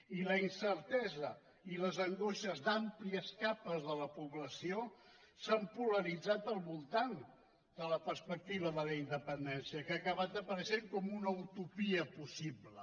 i la incertesa i les angoixes d’àmplies capes de la població s’han polaritzat al voltant de la perspectiva de la independència que ha acabat apareixent com una utopia possible